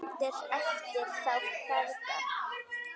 HEFNDIR EFTIR ÞÁ FEÐGA